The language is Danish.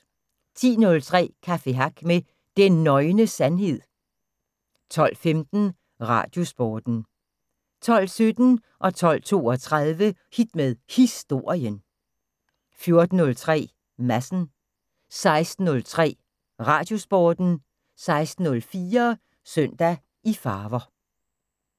10:03: Café Hack med Den Nøgne Sandhed 12:15: Radiosporten 12:17: Hit med Historien 12:32: Hit med Historien 14:03: Madsen 16:03: Radiosporten 16:04: Søndag i farver